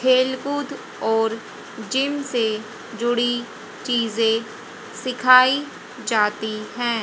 खेलकूद और जिम से जुड़ी चीजे सिखाई जाती है।